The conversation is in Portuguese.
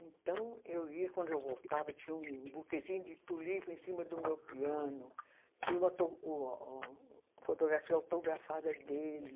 Então eu ia, quando eu voltava, tinha um um buquezinho de Tulipa em cima do meu piano, tinha uma to, uma o, fotografia autografada dele.